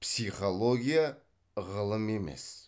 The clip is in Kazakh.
психология ғылым емес